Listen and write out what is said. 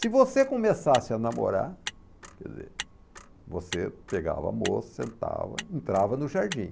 Se você começasse a namorar, quer dizer, você pegava a moça, sentava, entrava no jardim.